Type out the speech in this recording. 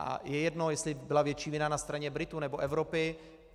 A je jedno, jestli byla větší vina na straně Britů, anebo Evropy.